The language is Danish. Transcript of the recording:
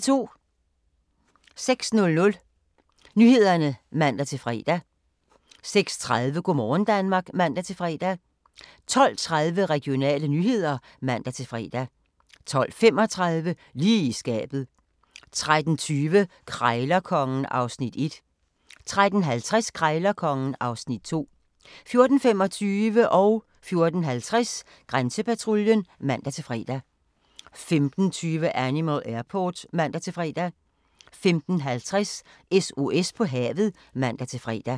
06:00: Nyhederne (man-fre) 06:30: Go' morgen Danmark (man-fre) 12:30: Regionale nyheder (man-fre) 12:35: Lige i skabet 13:20: Krejlerkongen (Afs. 1) 13:50: Krejlerkongen (Afs. 2) 14:25: Grænsepatruljen (man-fre) 14:50: Grænsepatruljen (man-fre) 15:20: Animal Airport (man-fre) 15:50: SOS på havet (man-fre)